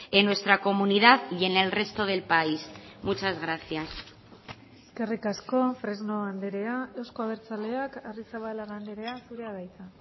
en nuestra comunidad y en el resto del país muchas gracias eskerrik asko fresno andrea euzko abertzaleak arrizabalaga andrea zurea da hitza